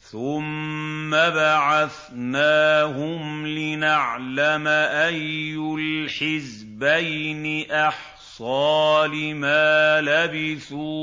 ثُمَّ بَعَثْنَاهُمْ لِنَعْلَمَ أَيُّ الْحِزْبَيْنِ أَحْصَىٰ لِمَا لَبِثُوا